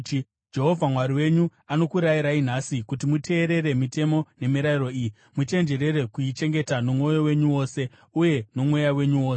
Jehovha Mwari wenyu anokurayirai nhasi kuti muteerere mitemo nemirayiro iyi; muchenjerere kuichengeta nomwoyo wenyu wose uye nomweya wenyu wose.